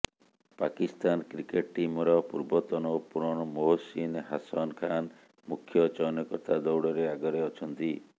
Pakistan cricket ଟିମର ପୂର୍ବତନ opener Mohsin Hasan Khan ମୁଖ୍ୟ ଚୟନକର୍ତ୍ତା ଦୌଡ଼ରେ ଆଗରେ ଅଛନ୍ତି